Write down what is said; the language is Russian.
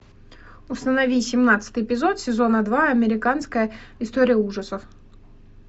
установи семнадцатый эпизод сезона два американская история ужасов